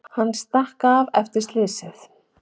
Hann stakk af eftir slysið.